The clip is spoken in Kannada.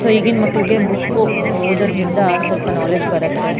ಸೋ ಈಗಿನ ಮಕ್ಕಳಿಗೆ ಬುಕ್ ಓದೋದ್ರಿಂದ ಸ್ವಲ್ಪ ನಾಲೆಜ್ ಬರತ್ತೆ.